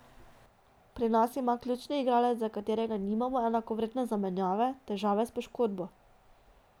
Pri nas ima ključni igralec, za katerega nimamo enakovredne zamenjave, težave s poškodbo.